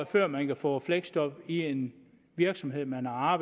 før man kan få fleksjob i en virksomhed man har